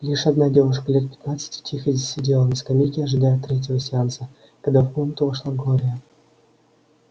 лишь одна девушка лет пятнадцати тихо сидела на скамейке ожидая третьего сеанса когда в комнату вошла глория